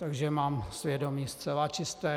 Takže mám svědomí zcela čisté.